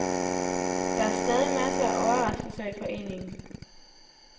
Der er stadig masser af overraskelser i foreningen.